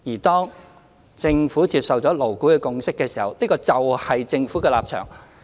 當政府接受了勞顧會的共識，那共識就是政府的立場。